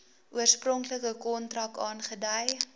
oorspronklike kontrak aangedui